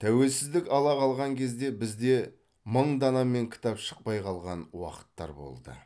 тәуелсіздік ала қалған кезде бізде мың данамен кітап шықпай қалған уақыттар болды